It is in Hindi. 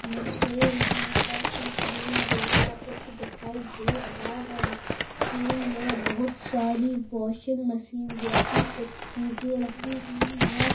मुझे यहां पर एक रूम जैसा कुछ दिखाई दे रहा है रूम में बहुत सारी वाशिंग मशीन जैसी कुछ चीजे रखी हुई है।